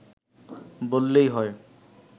বললেই হয়